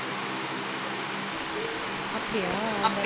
அப்படியா